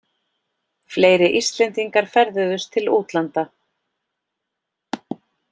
Fleiri Íslendingar ferðuðust til útlanda